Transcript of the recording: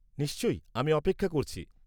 নিশ্চয়। আমি অপেক্ষা করছি।